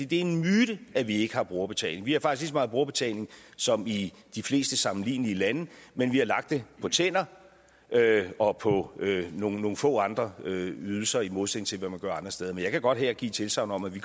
det er en myte at vi ikke har brugerbetaling vi har faktisk meget brugerbetaling som i de fleste sammenlignelige lande men vi har lagt det på tænder og på nogle få andre ydelser i modsætning til hvad man gør andre steder men jeg kan godt her give et tilsagn om at vi